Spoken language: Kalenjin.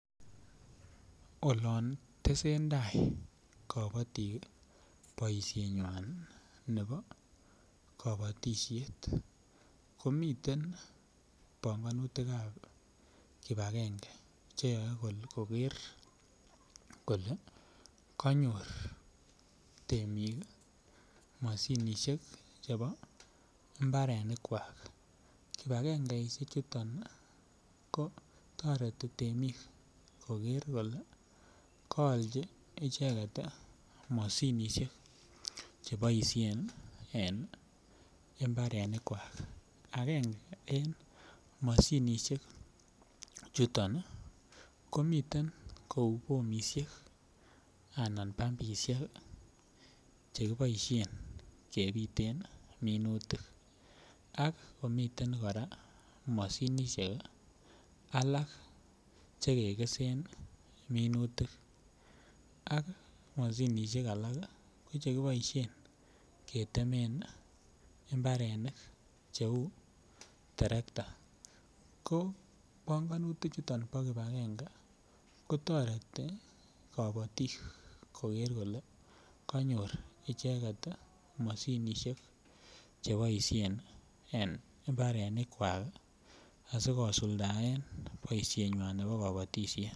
Olon tesen tai kabotik boishenyui nebo kabatishet komiten bongonutikab kibagenge cheyoe kole koker kole kanyor temik mashinishek chebo mbarenikwak kibakengeishe chuto ko toreti temik koker kole kaolji icheget mashinishek cheboishen en imbarenikwak agenge en mashinishek chuton komiten kou boishen anan bambishek chekiboishen kebiten minutik ak komiten kora mashinishek alak chekekesen minutik ak mashinishek alak ko chekiboishen ketemen mbarenik cheu terekta ko bongonutik chuton bo kipagenge kotoreti kabotik koker kole kanyor icheget mashinishek cheboishen en imbarenikwak asikosuldae boishenywai nebo kabatishet